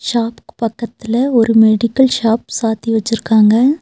ச்சாப்புக்கு பக்கத்துல ஒரு medical shop சாத்தி வச்சுருக்காங்க.